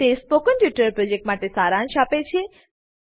તે spoken tutorial પ્રોજેક્ટનો સારાંશ આપે છે